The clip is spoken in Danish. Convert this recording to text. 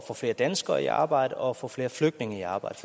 få flere danskere i arbejde og få flere flygtninge i arbejde